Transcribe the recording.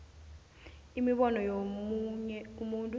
imibono yomunye umuntu